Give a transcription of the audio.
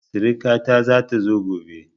Siriƙa ta zata zo gobe